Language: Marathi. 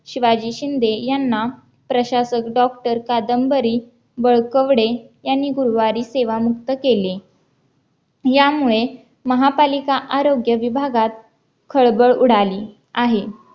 शिवाजी शिंदे यांना प्रशासन डॉक्टर कादंबरी बळकवडे यांनी गुरुवारी सेवा मुक्त केले यामुळे महापालिका आरोग्य विभागात खळबळ उडाली आहे